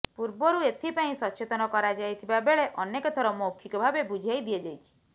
ପୂର୍ବରୁ ଏଥିପାଇଁ ସଚେତନ କରାଯାଇଥିବା ବେଳେ ଅନେକ ଥର ମୌଖିକ ଭାବେ ବୁଝାଇ ଦିଆଯାଇଛି